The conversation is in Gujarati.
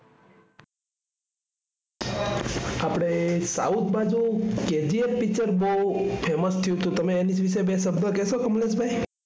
આપણે south બાજુ KGFpicture બહુ famous થયું હતું. તમે તેની વિશે બે શબ્દ કહશો કમલેશભાઈ?